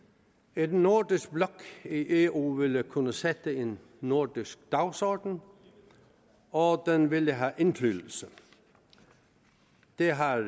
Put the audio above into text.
en nordisk blok i eu ville kunne sætte en nordisk dagsordenen og den ville have indflydelse det har